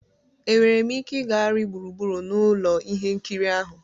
Enwere m ike ịgagharị gburugburu ụlọ ihe nkiri ahụ?